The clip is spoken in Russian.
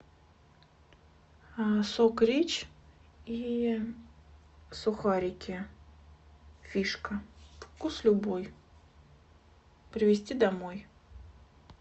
сок рич и сухарики фишка вкус любой привезти домой